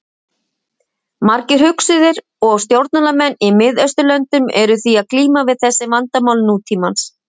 Margir hugsuðir og stjórnmálamenn í Mið-Austurlöndum eru því að glíma við þessi vandamál nútímans.